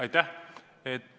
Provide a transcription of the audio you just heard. Aitäh!